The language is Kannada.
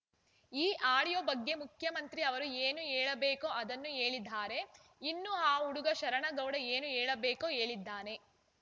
ಈ ಆಡಿಯೋ ಬಗ್ಗೆ ಮುಖ್ಯಮಂತ್ರಿ ಅವರು ಏನು ಹೇಳಬೇಕೋ ಅದನ್ನು ಹೇಳಿದ್ದಾರೆ ಇನ್ನು ಆ ಹುಡುಗ ಶರಣಗೌಡ ಏನು ಹೇಳಬೇಕೋ ಹೇಳಿದ್ದಾನೆ